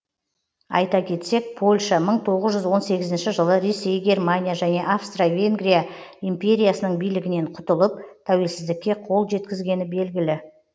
айта кетсек польша мың тоғыз жүз он сегізінші жылы ресей германия және австро венгрия империясының билігінен құтылып тәуелсіздікке қол жеткізгені белгілі